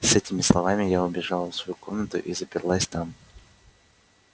с этими словами я убежала в свою комнату и заперлась там